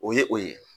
O ye o ye